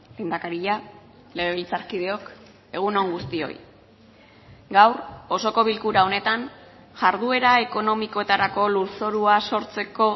lehendakaria legebiltzarkideok egun on guztioi gaur osoko bilkura honetan jarduera ekonomikoetarako lurzorua sortzeko